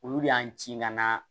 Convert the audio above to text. Olu de y'an ci ka na